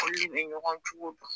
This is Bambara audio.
Olu de bɛ ɲɔgɔn cogo dɔn.